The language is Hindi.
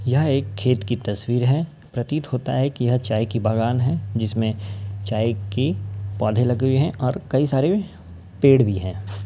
यह एक खेत की तस्वीर है। प्रतीत होता है की यह एक चाय का बागान है जिसमें चाय की पौधें लगे हुए हैं और कई सारे पेड़ भी हैं।